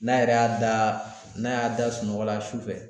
N'a yɛrɛ y'a da n'a y'a da sunɔgɔla sufɛ